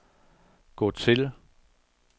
gå til